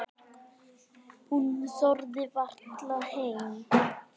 Hún þorði varla heim.